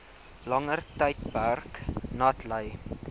langer tydperk natlei